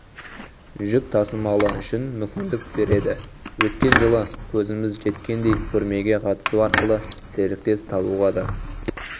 жүк тасымалы үшін мүмкіндік береді өткен жылы көзіміз жеткендей көрмеге қатысу арқылы серіктес табуға да